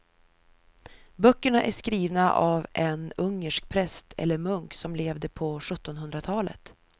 Böckerna är skrivna av en ungersk präst eller munk som levde på sjuttonhundratalet.